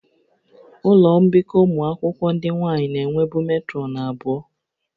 Ụlọ mbikọ ụmụ akwụkwọ ndị nwaanyị na-enwebu metrọnụ abụọ